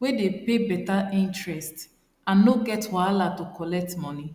wey dey pay better interest and no get wahala to collect money